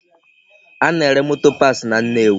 A na-ere motor parts na Nnewi